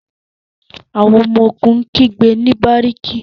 àwọn ọmọ-ogun n gbe ni bariki